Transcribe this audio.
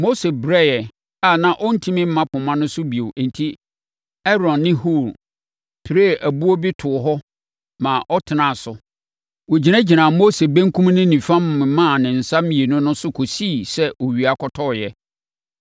Mose brɛeɛ a na ɔntumi mma poma no so bio enti Aaron ne Hur piree ɛboɔ bi too hɔ ma ɔtenaa so. Wɔgyinagyinaa Mose benkum ne nifa memaa ne nsa mmienu no so kɔsii sɛ owia kɔtɔeɛ.